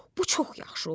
bu çox yaxşı oldu.